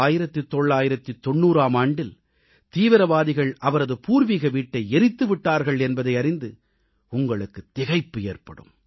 1990ஆம் ஆண்டில் தீவிரவாதிகள் அவரது பூர்வீக வீட்டை எரித்து விட்டார்கள் என்பதை அறிந்து உங்களுக்குத் திகைப்பு ஏற்படும்